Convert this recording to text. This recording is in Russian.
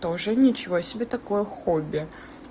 тоже ничего себе такое хобби